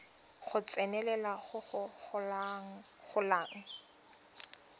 go tsenelela go go golang